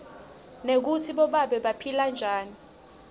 nekutsi bobabe baphila njani